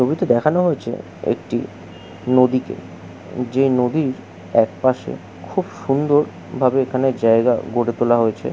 ছবিতে দেখানো হয়েছে একটি নদীকে যে নদীর একপাশে খুব সুন্দর ভাবে এখানে জায়গা গড়ে তোলা হয়েছে।